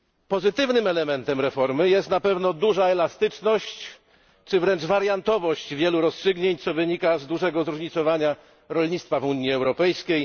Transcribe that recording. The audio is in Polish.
Pozytywnym elementem reformy jest na pewno duża elastyczność czy wręcz wariantowość wielu rozstrzygnięć, co wynika z dużego zróżnicowania rolnictwa w Unii Europejskiej.